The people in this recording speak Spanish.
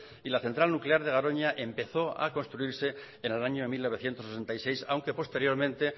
y la central nuclear de garoña empezó a construirse en el año mil novecientos sesenta y seis aunque posteriormente